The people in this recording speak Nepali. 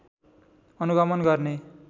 अनुगमन गर्ने